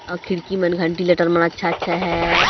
और खिड़की मन घंटी लटर मा अच्छा अच्छा हैं।